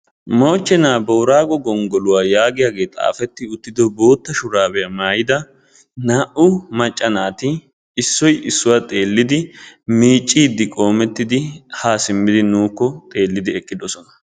Moochchenna boorago gonggoluwa giyaage xaafettiddo shurabbiya maayidda naa'u naati miiciddi nuna xeelosonna.